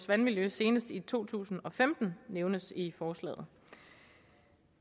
vandmiljøet senest i to tusind og femten nævnes i forslaget